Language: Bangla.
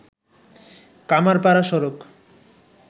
কামাড়পাড়া সড়ক